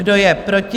Kdo je proti?